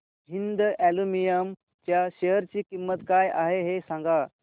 Hind aluminium च्या share ची किंमत काय आहे हे सांगा